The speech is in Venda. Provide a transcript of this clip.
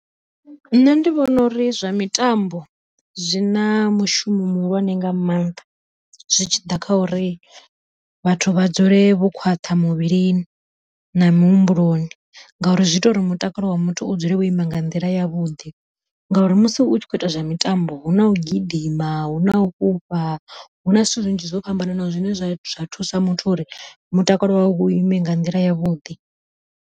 Nṋe ndi vhona uri zwa mitambo zwi na mushumo muhulwane nga maanḓa, zwitshiḓa kha uri vhathu vha dzule vhokhwaṱha muvhilini, na muhumbuloni ngauri zwi ita uri muthu mutakalo wa muthu u dzule wo ima nga nḓila ya vhuḓi. Ngauri musi u tshi kho ita zwa mitambo huna u gidima, huna u fhufha, huna zwithu zwinzhi zwo fhambananaho zwine zwa zwa thusa muthu uri mutakalo wawe u ime nga nḓila yavhuḓi.